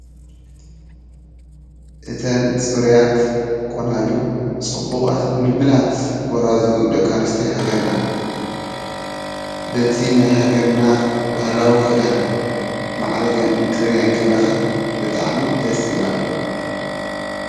እተን ፅሩያት ቆናጁ ፅቡቓት ምልምላት ጎራዙ ደቂ ኣንስትዮ ሃገርና በቲ ናይ ሃገርና ባህላዊ ክዳን ማዓሪገን እንትሪኤን ከለኻ ብጣዕሚ ደስ ይብላካ::